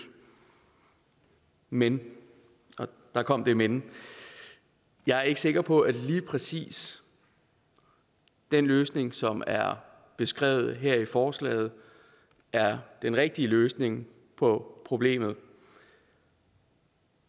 men og der kom det men jeg er ikke sikker på at lige præcis den løsning som er beskrevet her i forslaget er den rigtige løsning på problemet